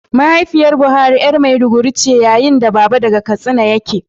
Mahaifiyar Buhari ’yar maiduguri ce, yayin da baba daga Katsina yake